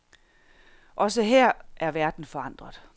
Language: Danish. Også her er verden forandret.